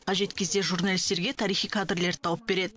қажет кезде журналистерге тарихи кадрлерді тауып береді